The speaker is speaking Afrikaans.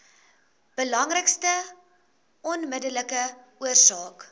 belangrikste onmiddellike oorsake